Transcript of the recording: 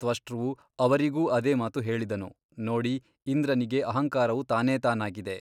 ತ್ವಷ್ಟೃವು ಅವರಿಗೂ ಅದೇ ಮಾತು ಹೇಳಿದನು ನೋಡಿ ಇಂದ್ರನಿಗೆ ಅಹಂಕಾರವು ತಾನೇತಾನಾಗಿದೆ.